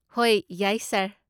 ꯍꯣꯏ, ꯌꯥꯏ, ꯁꯥꯔ꯫